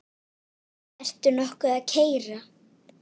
Ertu nokkuð að keyra?